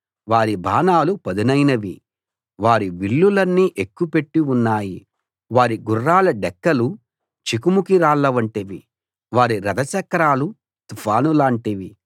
వారి బాణాలు పదునైనవి వారి విల్లులన్నీ ఎక్కుపెట్టి ఉన్నాయి వారి గుర్రాల డెక్కలు చెకుముకిరాళ్ల వంటివి వారి రథచక్రాలు తుఫాను లాంటివి